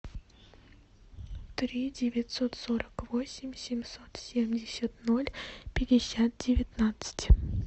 три девятьсот сорок восемь семьсот семьдесят ноль пятьдесят девятнадцать